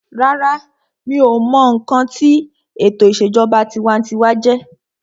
Rárá, mi ò mọ ohun tí sé o mọ ǹkan tí ètò ìṣèjọba tinwatinwa jẹjẹ́